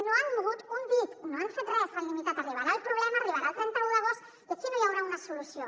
no han mogut un dit no han fet res s’han limitat que arribarà el problema arribarà el trenta un d’agost i aquí no hi haurà una solució